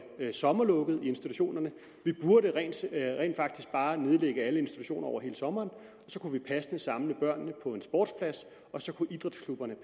sommerlukket i institutionerne vi burde rent faktisk bare nedlægge alle institutioner over hele sommeren så kunne vi passende samle børnene på en sportsplads og så kunne idrætsklubberne